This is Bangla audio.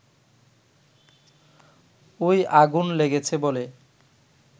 ওই আগুন লেগেছে বলে